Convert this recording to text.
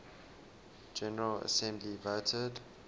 general assembly voted